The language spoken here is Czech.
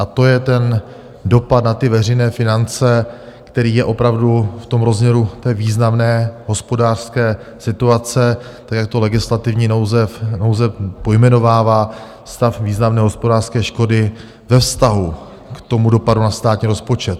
A to je ten dopad na ty veřejné finance, který je opravdu v tom rozměru té významné hospodářské situace, tak jak to legislativní nouze pojmenovává, stav významné hospodářské škody ve vztahu k tomu dopadu na státní rozpočet.